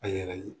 A yɛrɛ ye